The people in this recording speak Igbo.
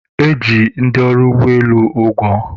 e ji ndị ọrụ ụgbọelu ụgwọ